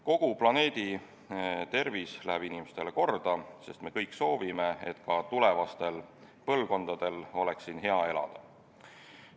Kogu planeedi tervis läheb inimestele korda, sest me kõik soovime, et ka tulevastel põlvkondadel oleks siin hea elada.